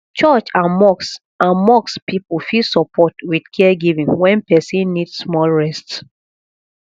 church and mosque and mosque people fit support with caregiving when person need small rest